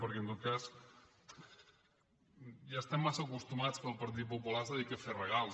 perquè en tot cas ja estem massa acostumats que el partit popular es dediqui a fer regals